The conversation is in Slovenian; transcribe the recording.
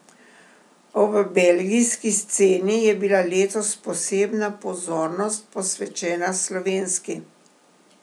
Ob belgijski sceni je bila letos posebna pozornost posvečena slovenski.